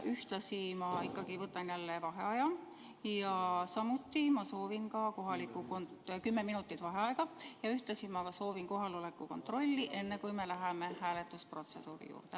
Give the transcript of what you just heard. Ühtlasi ma võtan jälle kümme minutit vaheaega ja ma soovin ka kohaloleku kontrolli, enne kui läheme hääletusprotseduuri juurde.